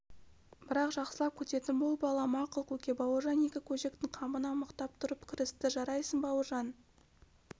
бірақ жақсылап күтетін бол балам мақұл көке бауыржан екі көжектің қамына мықтап тұрып кірісті жарайсың бауыржан